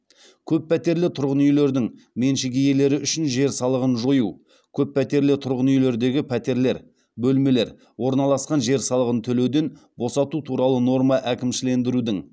көппәтерлі тұрғын үйлердің меншік иелері үшін жер салығын жою көп пәтерлі тұрғын үйлердегі пәтерлер орналасқан жер салығын төлеуден босату туралы норма әкімшілендірудің